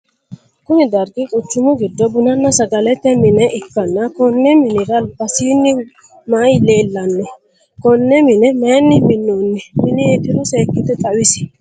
Kunni dargi quchumu gido bununna sagalete mine ikanna Konne minnira albasiinni mayi leelano? Konne mine mayinni minoonni mineetiro seekite xawisi?